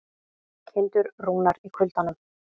Kindur rúnar í kuldanum